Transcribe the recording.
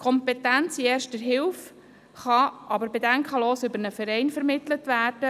Kompetenz in Erster Hilfe kann aber problemlos über einen Verein vermittelt werden.